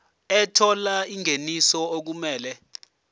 ethola ingeniso okumele